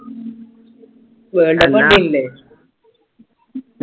Worldcup കണ്ടിന്നില്ലേ